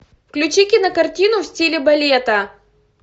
включи кинокартину в стиле балета